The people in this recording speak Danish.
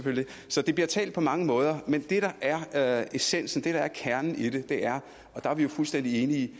så det bliver talt på mange måder men det der er essensen det der er kernen i det er og der er vi jo fuldstændig enige